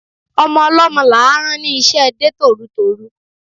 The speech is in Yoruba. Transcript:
Ọmọ ọlọ́mọ là á rán ní iṣẹ́ de tòrutòru